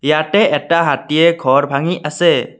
ইয়াতে এটা হাতীয়ে ঘৰ ভাঙি আছে।